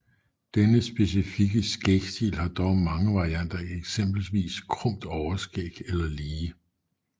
Denne specifikke skægstil har dog mange varianter eksempelvis krumt overskæg eller lige